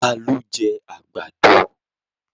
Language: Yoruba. Ta ló jẹ́ àgbàdo?